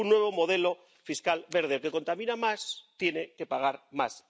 Un nuevo modelo fiscal verde. El que contamina más tiene que pagar más.